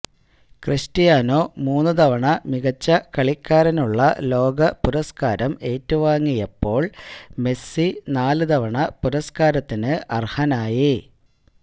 Cristiano മൂന്നു തവണ മികച്ച കളിക്കാരനുള്ള ലോക പുരസ്കാരം ഏറ്റുവാങ്ങിയപ്പോള് മെസ്സി നാലു തവണ പുരസ്കാരത്തിന് അര്ഹനായി